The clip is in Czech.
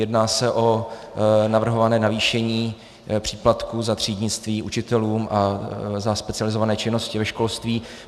Jedná se o navrhované navýšení příplatku za třídnictví učitelům a za specializované činnosti ve školství.